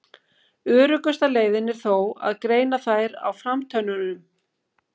Öruggasta leiðin er þó að greina þær á framtönnunum.